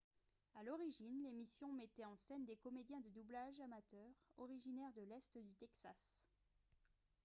à l'origine l'émission mettait en scène des comédiens de doublage amateurs originaires de l'est du texas